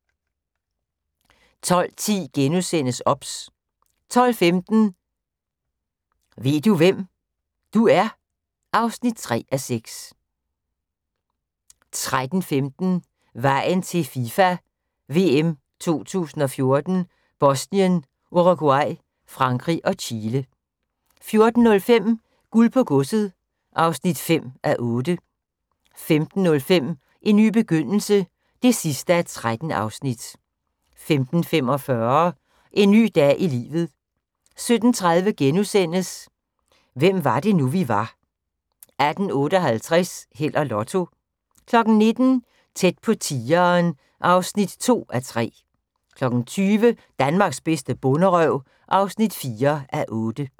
12:10: OBS * 12:15: Ved du hvem, du er? (3:6) 13:15: Vejen til FIFA VM 2014: Bosnien, Uruguay, Frankrig og Chile 14:05: Guld på godset (5:8) 15:05: En ny begyndelse (13:13) 15:45: En ny dag i livet 17:30: Hvem var det nu, vi var * 18:58: Held og Lotto 19:00: Tæt på tigeren (2:3) 20:00: Danmarks bedste bonderøv (4:8)